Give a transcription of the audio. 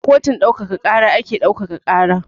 A kotun ɗaukaka ƙara ake ɗaukaka ƙara.